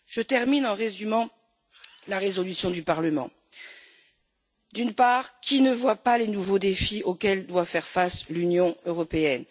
Je termine en résumant la résolution du Parlement d'une part, qui ne voit pas les nouveaux défis auxquels doit faire face l'Union européenne?